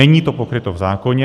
Není to pokryto v zákoně.